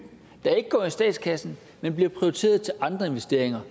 der ikke går i statskassen men bliver prioriteret til andre investeringer